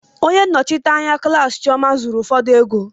onye nnọchite anya klaasị chioma zuru ụfọdụ ego.